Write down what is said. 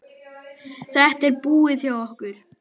Þetta er búið hjá okkur!